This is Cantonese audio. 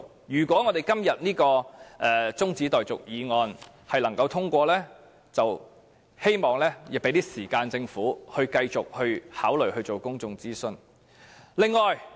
如果今天這項中止待續議案獲得通過，我希望政府會有更多時間繼續考慮進行公眾諮詢。